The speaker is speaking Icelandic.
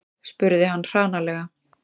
spurði hann hranalega.